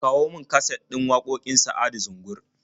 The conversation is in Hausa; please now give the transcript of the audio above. Kawo min kaset din waƙoƙin Sa'adu Zungur.